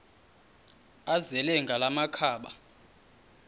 azele ngala makhaba